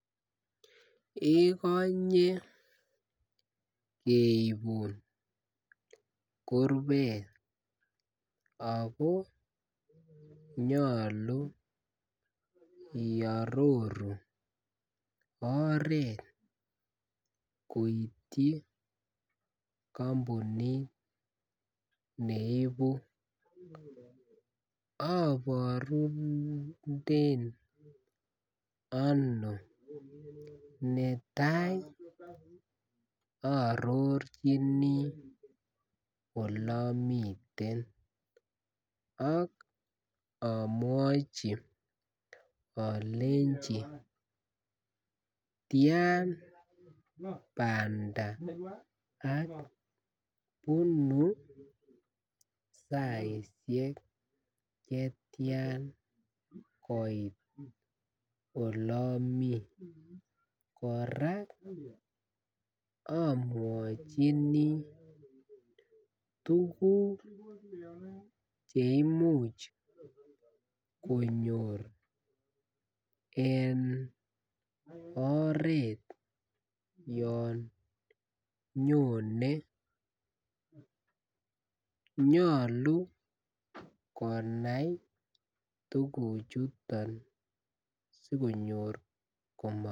Ikonye keibun kurbet ago nyolu iaroru oret koityi kampunit ne ibu aborunden ano netai aarorchichini Ole amiten ak amwachi alenji tian banda ak ibe saisiek Che tian koit Ole amii kora amwachini tuguk Che imuch konyor en oret yon nyone nyolu konai tuguchuton si konyor komobet